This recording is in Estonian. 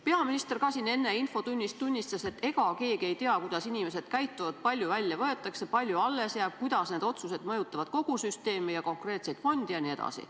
Peaminister ka siin infotunnis enne tunnistas, et ega keegi ei tea, kuidas inimesed käituvad, kui palju välja võetakse, kui palju alles jääb, kuidas need otsused mõjutavad kogu süsteemi ja konkreetseid fonde jne.